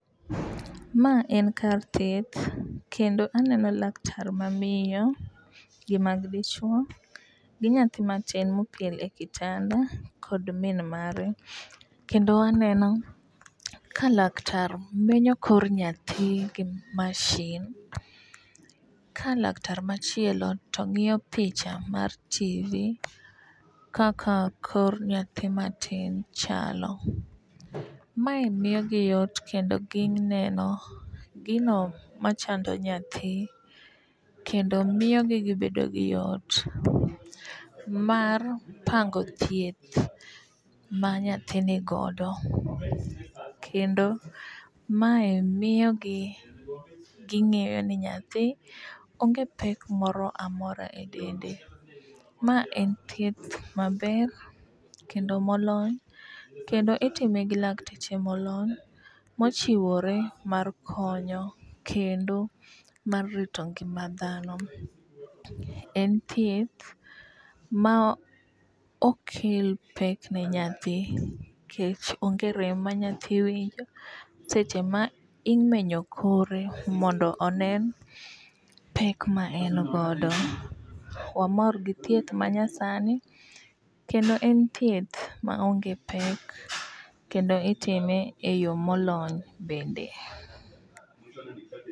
Ma en kar thieth kendo aneno laktar mamiyo gi ma dichuo gi nyathi matin mopiel e kitanda kod min mare kendo aneno ka laktar menyo kor nyathi gi mashin ka laktar machielo to ng'iyo picha mar tivi kaka kor nyathi matin chalo . Mae miyo gi yot kendo gineno gino machando nyathi kendo miyo gi gibedo gi yot mar pango thieth ma nyathi nigodo. Kendo mae miyo gi ging'eyo ni nyathi onge pek moro amora e dende. Ma en thieth maber kendo molony kendo itime gi lakteche molony mochiwore mar konyo kendo mar rito ngima dhano. En thieth ma ok kel pek ne nyathi nikech onge rem ma nyathi winjo seche ma imenyo kore mondo onen pek ma en godo. Wamor gi thieth manya sani kendo en thieth ma onge pek kendo itime eyo molony bende.